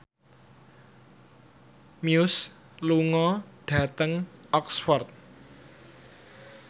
Muse lunga dhateng Oxford